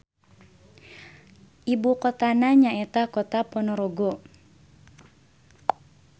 Ibukotana nyaeta Kota Ponorogo.